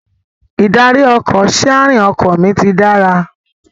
Ìdarí-ọkọ̀/síarìn ọkọ mi ti dára